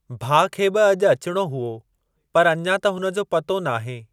भाउ खे बि अॼ अचणो हुओ पर अञां त हुनजो पतो नाहे ।